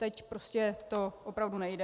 Teď to prostě opravdu nejde.